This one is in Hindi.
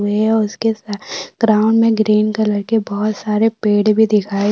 हुए है और उसके साइड ग्राउंड में ग्रीन कलर के बहुत सारे पेड़ भी दिखाई--